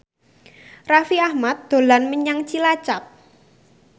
Raffi Ahmad dolan menyang Cilacap